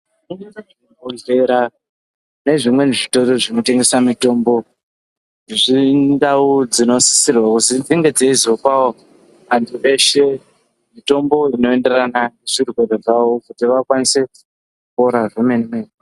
Zvibhedhlera nezvimweni zvitoro zvinotengesa mitombo, indau dzinosisirwa kunge dzeizopawo anhu eshe mitombo inoenderana nezvirwere zvavo kuti vakwanise kupora zvemene mene.